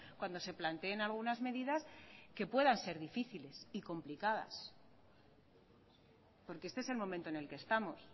cuando se planteen algunas medidas que puedan ser difíciles y complicadas porque este es el momento en el que estamos